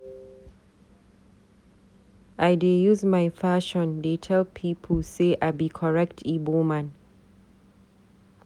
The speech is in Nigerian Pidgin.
I dey use my fashion dey tel pipu say I be correct Ibo man.